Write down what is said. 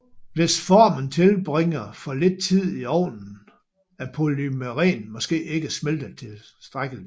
Hvis formen tilbringer for lidt tid i ovnen er polymeren måske ikke smeltet tilstrækkeligt